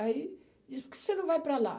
Aí, disse, por que você não vai para lá?